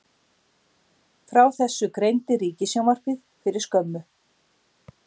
Frá þessu greindi Ríkissjónvarpið fyrir skömmu